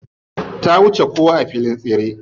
Ta wuce kowa a filin tseren.